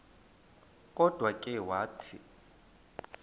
kodwa ke wathi